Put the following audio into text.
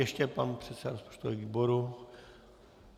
Ještě pan předseda rozpočtového výboru.